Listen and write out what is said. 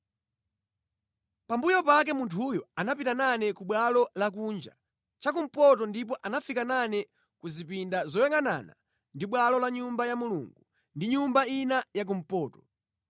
Pambuyo pake munthuyo anapita nane ku bwalo lakunja chakumpoto ndipo anafika nane ku zipinda zoyangʼanana ndi bwalo la Nyumba ya Mulungu ndi nyumba ina yakumpoto.